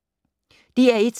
DR1